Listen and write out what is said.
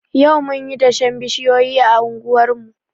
Yau munyi dashen bishiyoyi a anguwar mu.